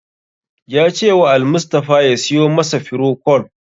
Ya cewa Almustapha ya siyo masa firocol.